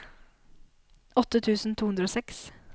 åtte tusen to hundre og seks